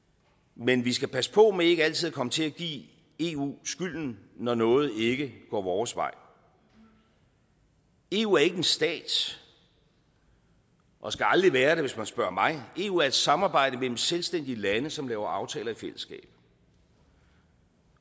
men vi skal passe på med ikke altid at komme til at give eu skylden når noget ikke går vores vej eu er ikke en stat og skal aldrig være det hvis man spørger mig eu er et samarbejde mellem selvstændige lande som laver aftaler i fællesskab